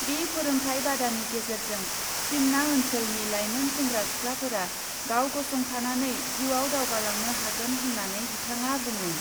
बे फोरोंथाय बादानि गेजेरजों सिमना ओन्सोलनि लाइमोन सेंग्रा सिख्लाफोरा गावगसंथानानै जिउयाव दावगालांनो हागोन होन्नानै बिथाङा बुङो ।